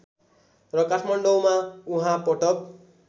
र काठमाडौँमा उहाँ पटक